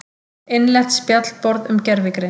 Innlent spjallborð um gervigreind.